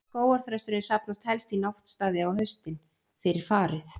Skógarþrösturinn safnast helst í náttstaði á haustin, fyrir farið.